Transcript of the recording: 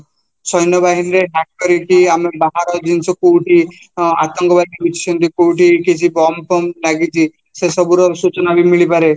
ସୈନବାହିନୀରେ ବାହାର ଜିନିଷ କୋଉଠି ଆତଙ୍କବାଦି ଲୁଚିଛନ୍ତି କୋଉଠି କିଛି bomb ଲାଗିଛି ସେ ସବୁର ସୂଚନାବି ମିଳିପାରେ